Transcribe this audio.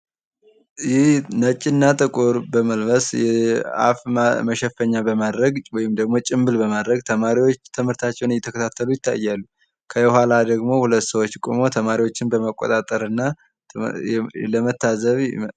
ይህ ነጭ እና ጥቁር በመልበስ አፍ መሸፈኛ በማድረግ ወይም ደሞ ጭንብል በማድረግ ተማሪዎች ትምህርታቸውን እየተከታተሉ ይታያሉ። ከኋላ ደሞ ሁለት ሰዎች ቆመው ተማሪዎችን በመቆጣጠር እና ለመታዘብ